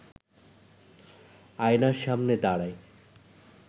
আয়নার সামনে দাঁড়ায়